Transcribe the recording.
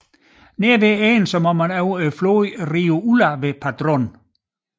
Nær slutningen må man over floden Rio Ulla ved Padrón